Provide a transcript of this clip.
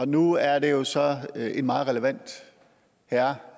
nu er det jo så en meget relevant herre